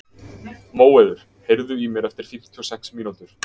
Móeiður, heyrðu í mér eftir fimmtíu og sex mínútur.